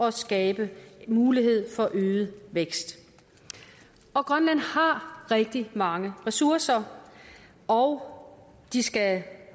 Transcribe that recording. at skabe mulighed for øget vækst grønland har rigtig mange ressourcer og de skal